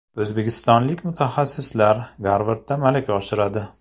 O‘zbekistonlik mutaxassislar Garvardda malaka oshiradi.